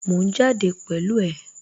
Mò ń jáde pẹ̀lú ẹ